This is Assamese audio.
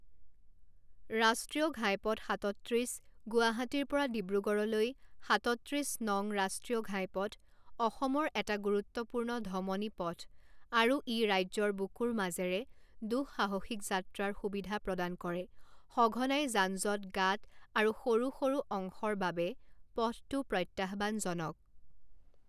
ৰাষ্ট্ৰীয় ঘাইপথ সাতত্ৰিছ গুৱাহাটীৰ পৰা ডিব্ৰুগড়লৈ সাতত্ৰিছ নং ৰাষ্টীয় ঘাইপথ অসমৰ এটা গুৰুত্বপূৰ্ণ ধমনী পথ আৰু ই ৰাজ্যৰ বুকুৰ মাজেৰে দুঃসাহসিক যাত্ৰাৰ সুবিধা প্ৰদান কৰে সঘনাই যান যঁট গাঁত আৰু সৰু সৰু অংশৰ বাবে পথটো প্ৰত্যাহ্বানজনক